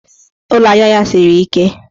Ụlọaja ya siri ike.